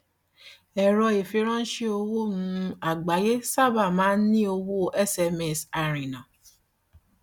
ẹrọ ìfiránṣé owó um àgbáyé sábà máa ń ní owó sms àárínà